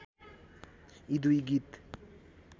यी दुई गीत